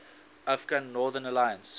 afghan northern alliance